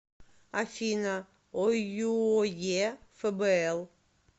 афина ойюе фбл